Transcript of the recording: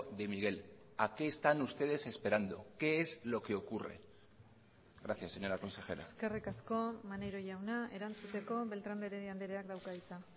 de miguel a qué están ustedes esperando qué es lo que ocurre gracias señora consejera eskerrik asko maneiro jauna erantzuteko beltrán de heredia andreak dauka hitza